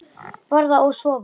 Borða og sofa.